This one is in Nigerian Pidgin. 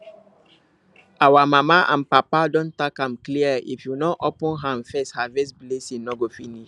our mama and papa don talk am clear if you no open hand first harvest blessing no go finish